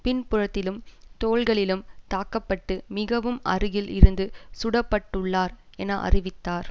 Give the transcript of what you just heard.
பின்புறத்திலும் தோள்களிலும் தாக்க பட்டு மிகவும் அருகில் இருந்து சுடப்பட்டுள்ளார் என அறிவித்தார்